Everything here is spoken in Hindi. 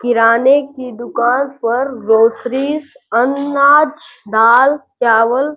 किराने की दुकान पर ग्रॉसरिस अनाज दाल चावल --